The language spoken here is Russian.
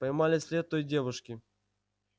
поймали след той девушки